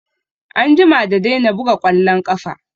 Ya jima da daina buga ƙwallon ƙafa